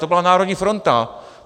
To byla Národní fronta.